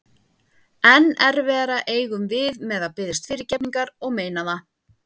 Enn erfiðara eigum við með að biðjast fyrirgefningar og meina það.